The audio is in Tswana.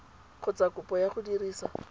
kgotsa kopo ya go dirisa